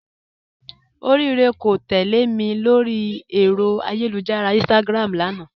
Orirè kò tẹlẹ̀ mì lórí èrò ayélujára Instagram lánà